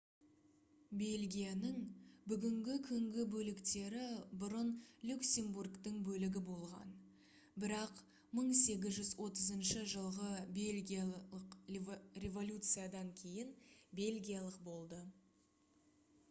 бельгияның бүгінгі күнгі бөліктері бұрын люксембургтың бөлігі болған бірақ 1830 жылғы бельгиялық революциядан кейін бельгиялық болды